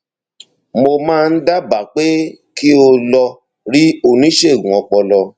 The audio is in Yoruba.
mo máa dábàá pé kí o lọ rí oníṣègùn ọpọlọ